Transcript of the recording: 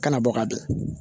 Kana bɔ ka don